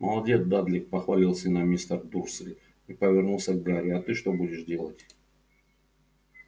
молодец дадлик похвалил сына мистер дурсль и повернулся к гарри а ты что будешь делать